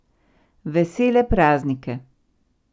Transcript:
Vesele praznike.